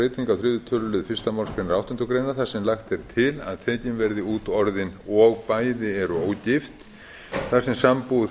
á þriðja tölulið fyrstu málsgrein áttundu greinar þar sem lagt er til að tekin verði út orðin og bæði eru ógift þar sem sambúð